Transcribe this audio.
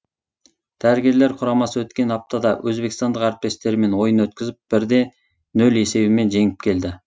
дәрігерлер құрамасы өткен аптада өзбекстандық әріптестерімен ойын өткізіп бірде нөл есебімен жеңіп келді